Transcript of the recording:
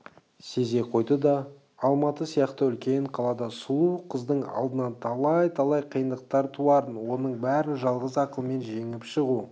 сезе қойды да алматы сияқты үлкен қалада сұлу қыздың алдынан талай-талай қиындықтар туарын оның бәрін жалғыз ақылмен жеңіп шығу